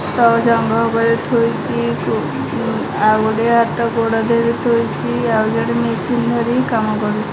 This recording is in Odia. ତଳେ ଜଙ୍ଘ ଉପରେ ଥୋଇକି ଆଉ ଗୋଟେ ହାତ ଗୋଡ଼ ଦେହରେ ଥୋଇକି ଆଉ ଜଣେ ମିଶିନୀ ଧରି କାମ କରୁ --